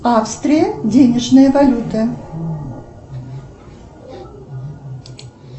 австрия денежная валюта